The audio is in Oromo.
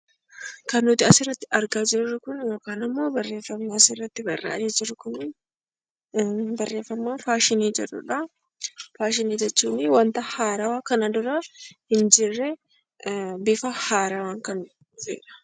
Kan nuti asirratti argaa jirru kun barreeffama faashinii jedhudha. Faashinii jechuun wanta haarawaa kanaan dura hin jirre bifa haarawaan kan dhufedha.